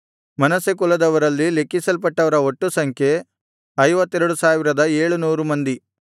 ಮನಸ್ಸೆ ಕುಲದವರಲ್ಲಿ ಲೆಕ್ಕಿಸಲ್ಪಟ್ಟವರ ಒಟ್ಟು ಸಂಖ್ಯೆ 52700 ಮಂದಿ